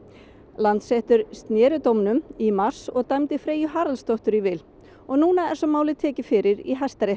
Landsréttur sneri dómnum í mars og dæmdi Freyju Haraldsdóttur í vil og núna er svo málið tekið fyrir í Hæstarétti